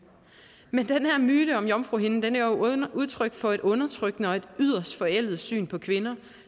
men den her myte om jomfruhinden er jo udtryk for et undertrykkende og yderst forældet syn på kvinder